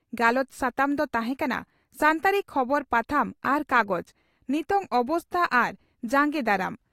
ᱜᱟᱞᱚᱪ ᱥᱟᱛᱟᱢ ᱫᱚ ᱛᱟᱦᱮᱸ ᱠᱟᱱᱟ ᱺ ᱥᱟᱱᱛᱟᱲᱤ ᱠᱷᱚᱵᱚᱨ ᱯᱟᱛᱷᱟᱢ ᱟᱨ ᱠᱟᱜᱚᱡᱽ ᱼ ᱱᱤᱛᱚᱝ ᱚᱵᱚᱥᱛᱟ ᱟᱨ ᱡᱟᱸᱜᱮ ᱫᱟᱨᱟᱢ ᱾